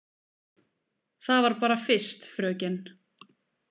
Það var bara fyrst, fröken.